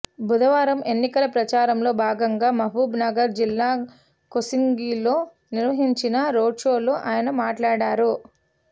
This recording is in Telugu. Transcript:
బుధవారం ఎన్నికల ప్రచారంలో భాగంగా మహబూబ్నగర్ జిల్లా కోస్గిలో నిర్వహించిన రోడ్షోలో ఆయన మాట్లాడారు